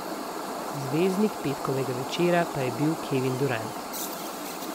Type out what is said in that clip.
Zvezdnik petkovega večera pa je bil Kevin Durant.